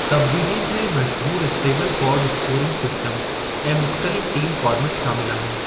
तबदीलयुनि में मशहूरु Stableford scoring system ऐं मुख़्तलिफ़ टीम फ़ार्मेट शामिल आहिनि।